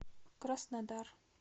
краснодар